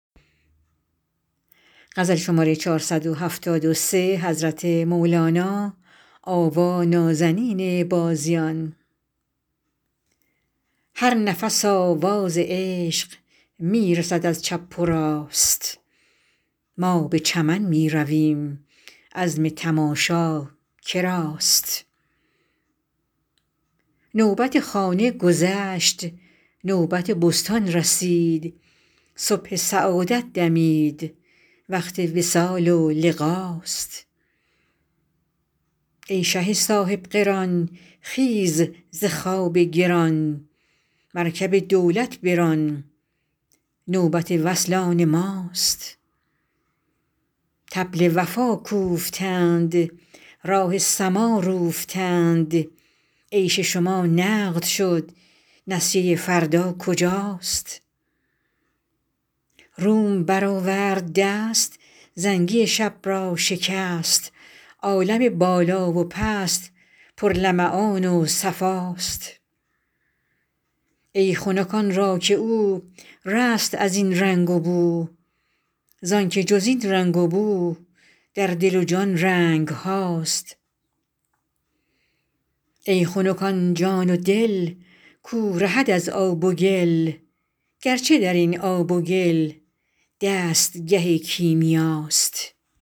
هر نفس آواز عشق می رسد از چپ و راست ما به چمن می رویم عزم تماشا که راست نوبت خانه گذشت نوبت بستان رسید صبح سعادت دمید وقت وصال و لقاست ای شه صاحب قران خیز ز خواب گران مرکب دولت بران نوبت وصل آن ماست طبل وفا کوفتند راه سما روفتند عیش شما نقد شد نسیه فردا کجاست روم برآورد دست زنگی شب را شکست عالم بالا و پست پرلمعان و صفاست ای خنک آن را که او رست از این رنگ و بو زانک جز این رنگ و بو در دل و جان رنگ هاست ای خنک آن جان و دل کو رهد از آب و گل گرچه در این آب و گل دستگه کیمیاست